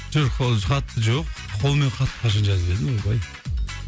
жоқ ол хат жоқ қолмен хат қашан жазып едім ойбай